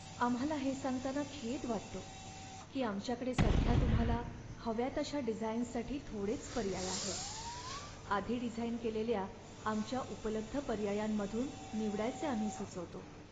आम्हाला हे सांगताना खेद वाटतो की आमच्याकडे सध्या तुम्हाला हव्या तशा डिझाईन्ससाठी थोडेच पर्याय आहेत. आधी डिझाईन केलेल्या आमच्या उपलब्ध पर्यायांमधून निवडायचे आम्ही सुचवतो.